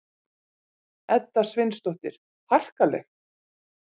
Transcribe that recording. Edda Sveinsdóttir: Harkaleg?